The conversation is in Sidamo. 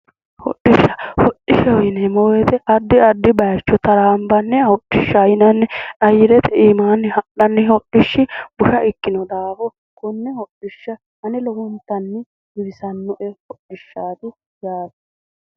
hodhishsha hodhishshaho yineemmowoyite addi addi bayicho taraanbanniha hodhishshaho yinanni ayyirete anaanni ha'nanni hodhishshi busha ikkino daafo konne hodhishsha ane horontanni giwisannoe yaate.